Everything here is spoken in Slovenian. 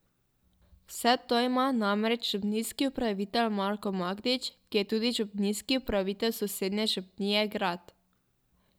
Vse to ima namreč župnijski upravitelj Marko Magdič, ki je tudi župnijski upravitelj sosednje župnije Grad.